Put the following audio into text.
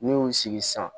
N'i y'u sigi sisan